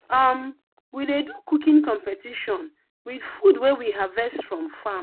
um we dey do cooking competition with food wey we harvest from farm.